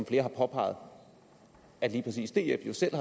flere har påpeget at lige præcis df jo selv